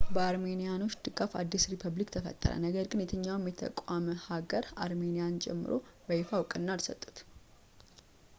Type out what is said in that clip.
በአርሜኒያኖች ድጋፍ አዲስ ሪፐብሊክ ተፈጠረ ነገር ግን የትኛውም የተቋቋመ ሀገር አርሜንያንም ጨምሮ በይፋ ዕውቅና አልሰጡትም